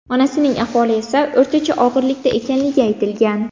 Onasining ahvoli esa o‘rtacha og‘irlikda ekanligi aytilgan.